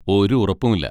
ഒരു ഉറപ്പുമില്ല.